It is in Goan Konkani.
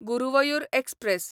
गुरुवयूर एक्सप्रॅस